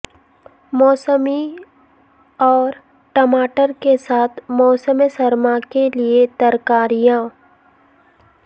موسمی اور ٹماٹر کے ساتھ موسم سرما کے لئے ترکاریاں